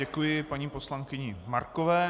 Děkuji paní poslankyni Markové.